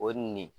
O nin